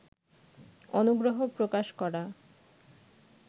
অনুগ্রহ প্রকাশ করা